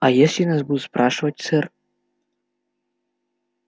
а если нас будут спрашивать сэр